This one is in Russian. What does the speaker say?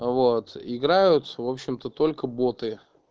вот играют в общем-то только боты